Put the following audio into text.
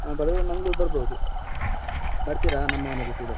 ಆ ಬರುದಾದ್ರೆ ಮಂಗ್ಳೂರ್‌ ಬರ್ಬೋದು. ಬರ್ತಿರಾ ನಮ್ಮ ಮನೆಗೆ ಸೀದಾ.